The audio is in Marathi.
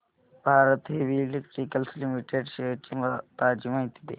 Bharat heavy electricals limited shares ची ताजी माहिती दे